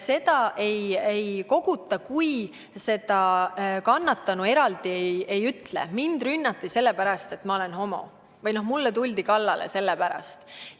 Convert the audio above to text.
Seda teavet ei koguta, kui kannatanu eraldi ei ütle, et mind rünnati sellepärast, et ma olen homo, või mulle tuldi sellepärast kallale.